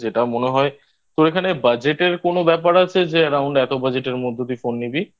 যেটা মনে হয় তোর এখানে Budget কোনো ব্যাপার আছে যে Around এত Budget এর মধ্য দিয়ে ফোন নিবি?